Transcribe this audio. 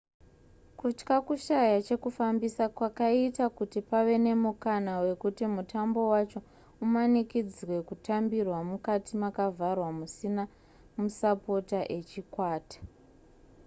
kutya kushaya chekufambisa kwakaita kuti pave nemukana wekuti mutambo wacho umanikidzwe kutambirwa mukati makavharwa musina masapota echikwata